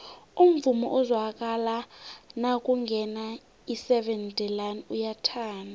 umvumo ozwakala nakungena iseven delaan uyathandwa